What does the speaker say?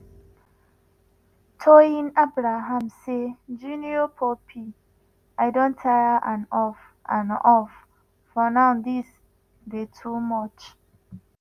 toyin abraham say "jnr pope i don tire and off and off for now dis dey too much."